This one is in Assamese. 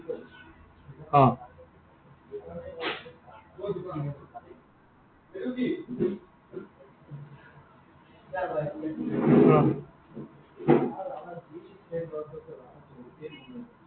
অ।